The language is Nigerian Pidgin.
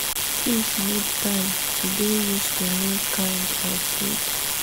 fish need time to dey use to new kind of feed.